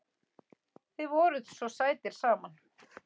Þið voruð svo sætir saman.